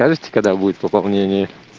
скажете когда будет пополнение